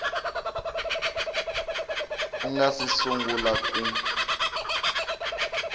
u nga si sungula ku